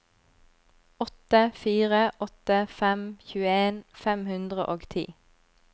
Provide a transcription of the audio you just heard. åtte fire åtte fem tjueen fem hundre og ti